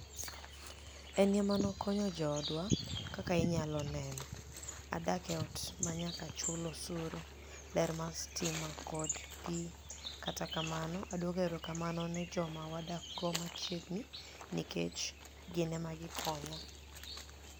Eni ema ni e okoniyo joodwa, kaka iniyalo ni eno, adak e ot maniyaka chul osuru, ler mar sitima kod pi, Kata kamano, adwoko erokamano ni e joma wadakgo machiegnii, niikech gini ema gikoniya.